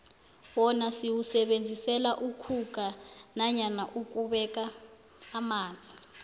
wona siwusebenzisela ukhukha nanyana ukubeka amanzi